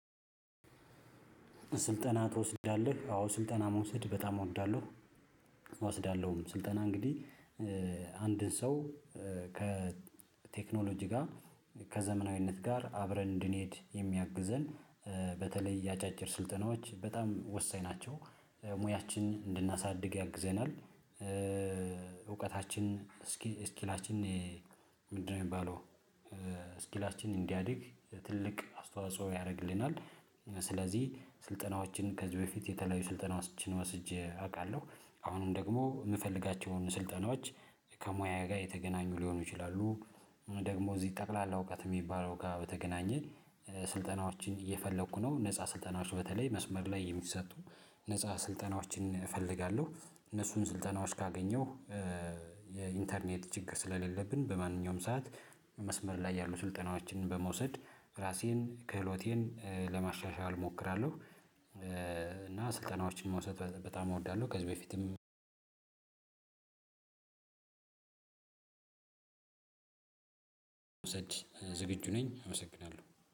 ስልጠና ትወስዳለህ አዎ ስልጠና መውሰድ በጣም እወዳለሁ። እወስዳለሁም ስልጠና እንግዲህ አንድን ሰው ከቴክኖሎጂ ጋር ከዘመናዊነት ጋር አብረን እንድንሄድ የሚያግዘን በተለይ አጫጭር ስልጠናዎች በጣም ወሳኝ ናቸው። ሙያችንን እንድናሳድግ ያግዘናል እውቀታች እስኪላችን? ምንድነው የሚባለው ስኪላችን እንዲያድግ ትልቅ አስተዋጽኦ ያደርግልናል። ስለዚህ ስልጠናዎችን ከዚህ በፊት የተለያዩ ስልጠናዎችን ወስጄ አውቃለሁ። አሁንም ደግሞ የምፈልጋቸውን ስልጠናዎች ከሙያ ጋር የተገናኙ ሊሆኑ ይችላሉ። ደግሞ እዚህ ጠቅላላ እውቀት የሚባለው ጋር በተገናኘ ስልጠናዎችን እየፈለኩ ነው። ነፃ ስልጠናዎች በተለይ መስመር ላይ የሚሰጡ ነፃ ስልጠናዎችን እፈልጋለሁ። እነሱን ስልጠናዎች ካገኘሁ የኢንተርኔት ችግር ስለሌለብን በማንኛውም ሰዓት መስመር ላይ ያሉ ስልጠናዎችን በመውሰድ ራሴን ክህሎቴን ለማሻሻል እሞክራለሁ። እና ስልጠናዎችን መውሰድ በጣም እወዳለሁ። ከዚህ በፊትም ዝግጁ ነኝ አመሰግናለሁ